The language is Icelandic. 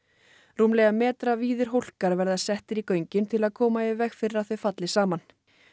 rúmlega metra víðir verða settir í göngin til að koma í veg fyrir að þau falli saman